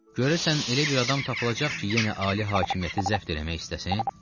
Görəsən elə bir adam tapılacaq ki, yenə ali hakimiyyəti zəbt eləmək istəsin?